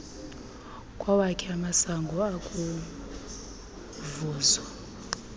kwawakhe amasango ukuvuza